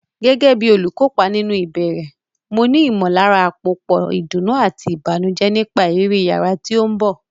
Gẹ́gẹ́ bí olùkópa nínú ìbẹ̀rẹ̀, mo ní ìmọ̀lára àpòpọ̀ ìdùnnú àti ìbànújẹ́ nípa ìrírí yàrá tí ó ń bọ̀.